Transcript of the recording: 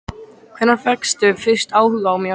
Hvenær fékkstu fyrst áhuga á mér?